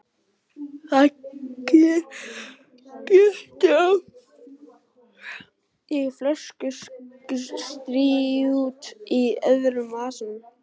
Það glitti í flöskustút í öðrum vasanum.